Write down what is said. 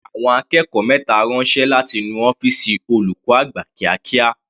Fi àwọn akẹ́kọ̀ọ́ mẹta ránṣẹ́ láti nu ọ́fìsì olùkọ́ àgbà kíákíá.